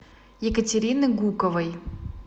екатерины гуковой